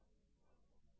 refresh करें